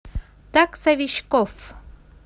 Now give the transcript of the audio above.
таксовичкоф